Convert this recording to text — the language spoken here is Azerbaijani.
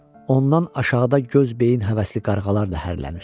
Ondan aşağıda göz beyin həvəsli qarğalar ləhərlənir.